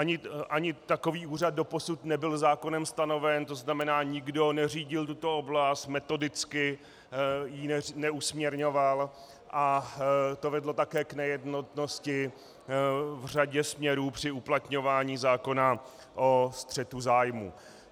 Ani takový úřad doposud nebyl zákonem stanoven, to znamená, nikdo neřídil tuto oblast, metodicky ji neusměrňoval a to vedlo také k nejednotnosti v řadě směrů při uplatňování zákona o střetu zájmů.